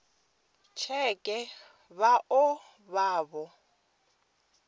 tsheke vha o vha vho